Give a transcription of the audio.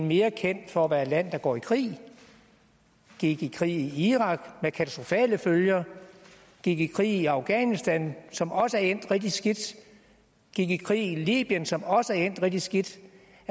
mere kendt for at være et land der går i krig gik i krig i irak med katastrofale følger gik i krig i afghanistan som også er endt rigtig skidt gik i krig i libyen som også er endt rigtig skidt